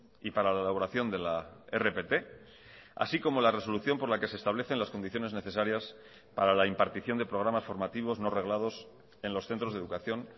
y para la elaboración de la rpt así como la resolución por la que se establecen las condiciones necesarias para la impartición de programas formativos no reglados en los centros de educación